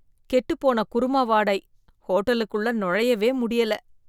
கெட்டுப்போன குருமா வாடை, ஹோட்டலுக்குள்ள நுழையவே முடியல.